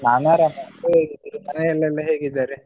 ನಾನು ಆರಾಮ್ ನೀವ್ ಹೇಗಿದ್ದೀರಿ ಮನೆಯಲೆಲ್ಲಾ ಹೇಗಿದ್ದಾರೆ?